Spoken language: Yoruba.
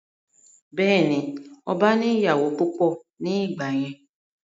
Bẹ́ẹ̀ni, ọba ní ìyàwó púpọ̀ ní ìgbà yẹn